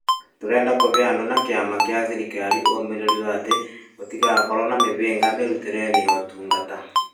Tũrenda kũhe andũ na kĩama gĩa thirikari ũũmĩrĩru atĩ gũtigakorwo na mĩhĩnga mĩrutĩreinĩ ya ũtungata,